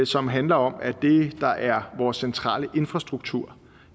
som handler om at det der er vores centrale infrastruktur